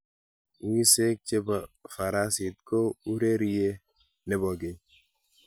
Wiseek che bo farasit ko urerie ne bo keny.